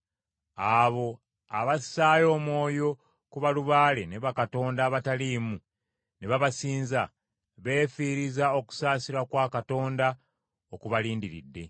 “Abo abassaayo omwoyo ku balubaale ne bakatonda abataliimu ne babasinza, beefiiriza okusaasirwa kwa Katonda okubalindiridde!